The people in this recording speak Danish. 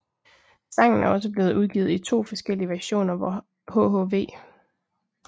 Sangen er også blevet udgivet i to forskellige versioner hvor hhv